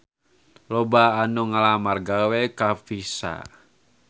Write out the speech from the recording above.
Loba anu ngalamar gawe ka Visa